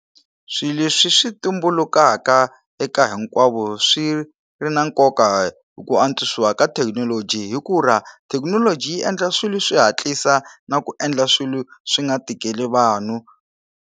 Swilo leswi swi tumbulukaka eka hinkwavo swi ri na nkoka ku antswisiwa ka thekinoloji hi ku ra thekinoloji yi endla swilo swi hatlisa na ku endla swilo swi nga tikeli vanhu.